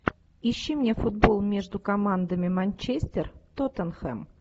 ищи мне футбол между командами манчестер тоттенхэм